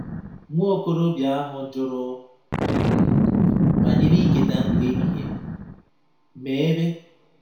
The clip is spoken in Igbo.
Nwa okorobịa ahụ jụrụ um banyere iketa ndụ ebighị ebi - ma ebe?